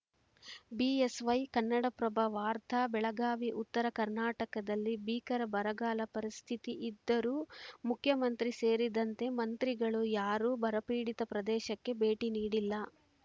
BSY Kannadaprabha ವಾರ್ತ ಬೆಳಗಾವಿ ಉತ್ತರ ಕರ್ನಾಟಕದಲ್ಲಿ ಭೀಕರ ಬರಗಾಲ ಪರಿಸ್ಥಿತಿ ಇದ್ದರೂ ಮುಖ್ಯಮಂತ್ರಿ ಸೇರಿದಂತೆ ಮಂತ್ರಿಗಳು ಯಾರೂ ಬರಪೀಡಿತ ಪ್ರದೇಶಕ್ಕೆ ಭೇಟಿ ನೀಡಿಲ್ಲ